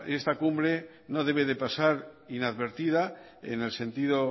esta cumbre no debe de pasar inadvertida en el sentido